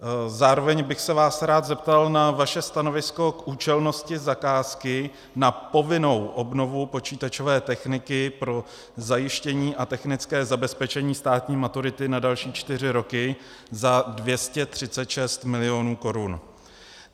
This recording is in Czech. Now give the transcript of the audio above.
Zároveň bych se vás rád zeptal na vaše stanovisko k účelnosti zakázky na povinnou obnovu počítačové techniky pro zajištění a technické zabezpečení státní maturity na další čtyři roky za 236 mil. korun.